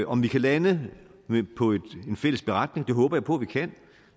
om vi kan lande med en fælles beretning det håber jeg på vi kan